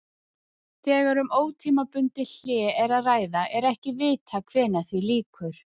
Þegar um ótímabundið hlé er að ræða er ekki vitað hvenær því lýkur.